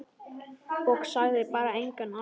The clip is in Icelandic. Og sagði bara: Engan asa.